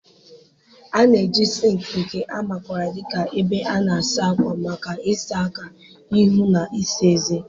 A na-eji sinki, nke a makwaara dị ka ebe a na-asa ákwà, maka ịsa aka, ihu, na ịsa ezé.